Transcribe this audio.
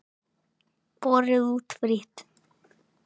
Borið út frítt.